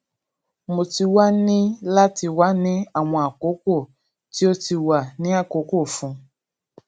mo ti wa ni lati wa ni awọn akọkọ ti o ti wa ni akọkọ fun